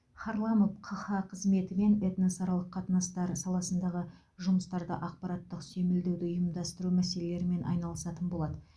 харламов қха қызметі мен этносаралық қатынастар саласындағы жұмыстарды ақпараттық сүйемелдеуді ұйымдастыру мәселелерімен айналысатын болады